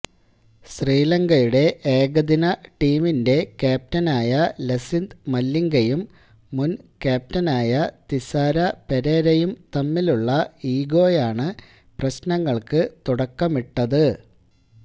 ശ്രീലങ്കയുടെ ഏകദിന ടീമിന്റെ ക്യാപ്റ്റനായ ലസിത് മലിംഗയും മുന് ക്യാപ്റ്റനായ തിസാര പെരേരയും തമ്മിലുള്ള ഈഗോയാണ് പ്രശ്നങ്ങള്ക്ക് തുടക്കമിട്ടത്